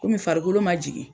Kɔmi farikolo ma jigin.